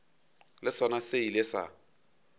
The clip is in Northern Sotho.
le sona se ile sa